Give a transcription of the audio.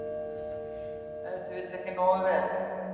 Ef til vill ekki nógu vel.